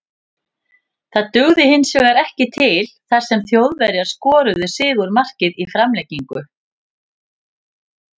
Það dugði hinsvegar ekki til þar sem Þjóðverjar skoruðu sigurmarkið í framlengingu.